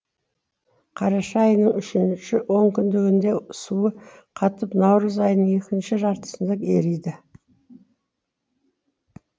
қараша айының үшінші онкүндігінде суы қатып наурыз айының екінші жартысында ериді